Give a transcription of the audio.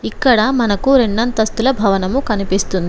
ఇక్కడ మనకు రెండంతస్తుల భవనము కనిపిస్తుం--